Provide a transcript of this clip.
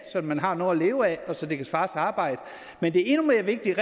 at man har noget at leve af og så det kan svare sig arbejde men det er endnu mere vigtigt